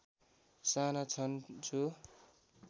साना छन् जो